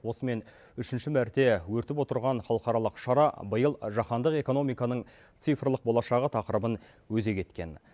осымен үшінші мәрте өтіп отырған халықаралық шара биыл жахандық экономиканың цифрлық болашағы тақырыбын өзек еткен